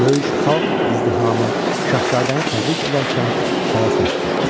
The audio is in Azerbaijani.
Böyük xalq izdihamı şahzadəni təbrik edərkən çaya səs düşdü.